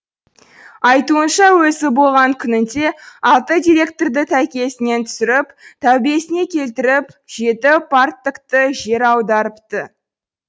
айтуынша өзі болған күнінде алты директорды тәйкесінен түсіріп тәубесіне келтіріп жеті парторгты жер аудартыпты